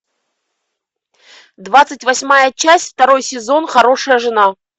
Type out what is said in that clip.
двадцать восьмая часть второй сезон хорошая жена